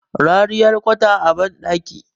rariyar kwata a bandaki